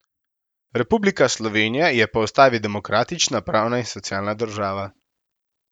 Republika Slovenija je po ustavi demokratična, pravna in socialna država.